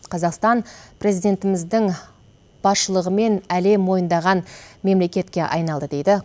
қазақстан президентіміздің басшылығымен әлем мойындаған мемлекетке айналды дейді